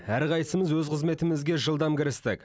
әрқайсымыз өз қызметімізге жылдам кірістік